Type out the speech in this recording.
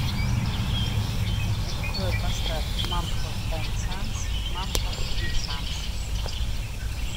джой поставь мамфорд энд санс мамфорд и санс